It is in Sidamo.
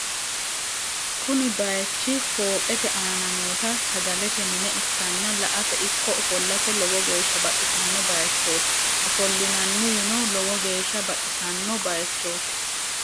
Kuni bayich fooqete aana noota sagalete mine ikkanna la"ate ikko ofollate lowo geeshsa baxissanno bayichot ofollinanniwino lowo geeshsa baxissanno bayichot.